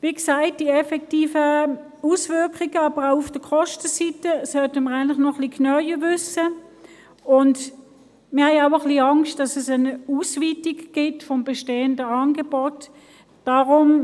Wie gesagt: Über die effektiven Auswirkungen, auch auf der Kostenseite, sollten wir noch etwas mehr wissen, und wir befürchten auch ein wenig, dass es zu einer Ausweitung des bestehenden Angebots kommt.